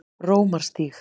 Rómarstíg